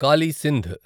Kali Sindh